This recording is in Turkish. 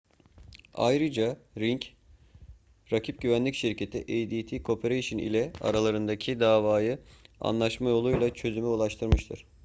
ayrıca ring rakip güvenlik şirketi adt corporation ile aralarındaki davayı anlaşma yoluyla çözüme ulaştırmıştır